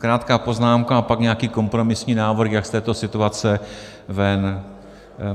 Krátká poznámka a pak nějaký kompromisní návrh, jak z této situace ven.